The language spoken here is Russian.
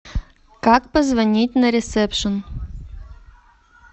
как позвонить на ресепшен